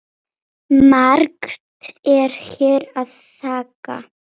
Margt er hér að þakka